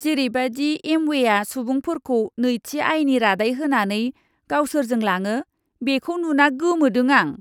जेरैबादि एम्वेआ सुबुंफोरखौ नैथि आयनि रादाय होनानै गावसोरजों लाङो, बेखौ नुना गोमोदों आं!